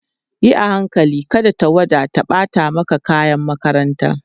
Yi a hankali kada tawada ta ɓata maka kayan makaranta